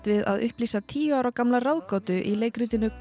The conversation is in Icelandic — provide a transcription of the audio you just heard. við að upplýsa tíu ára gamla ráðgátu í leikritinu